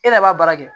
E de b'a baara kɛ